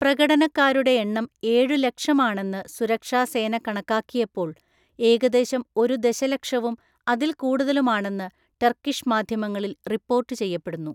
പ്രകടനക്കാരുടെ എണ്ണം ഏഴുലക്ഷം ആണെന്ന് സുരക്ഷാ സേന കണക്കാക്കിയപ്പോൾ, ഏകദേശം ഒരു ദശലക്ഷവും അതിൽ കൂടുതലും ആണെന്ന് ടർക്കിഷ് മാധ്യമങ്ങളിൽ റിപ്പോർട്ട് ചെയ്യപ്പെടുന്നു.